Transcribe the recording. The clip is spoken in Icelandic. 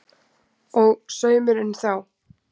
Og saumurinn þá?